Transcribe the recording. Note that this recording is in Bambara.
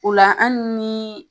O la an ni